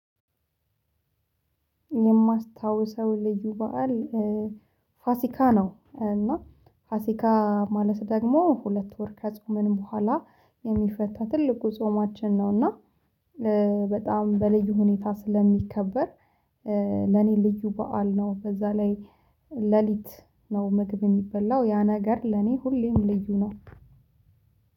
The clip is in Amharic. የማስታውሰው ልዩ በዓል ፋሲካ ነው። እና ፋሲካ ማለት ደግሞ ሁለት ወር ከጾምን በኋላ የሚፈታ ትልቁ ጾማችን ነው። እና በጣም በልዩ ሁኔታ ስለሚከበር። ለእኔ ልዩ በዓል ነው። በዛ ላይ ሌሊት ነው። ምግብ የሚበላው ያ ነገር ለኔ ሁሌም ልዩ ነው።